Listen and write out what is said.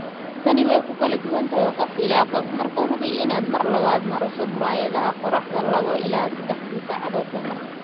Tani way ku kala duwan tahay qof ilaa qof, markaa hubi inaad mar labaad marso muraayadaha qorraxda laawo ila seddaxdii saacadoodba mar.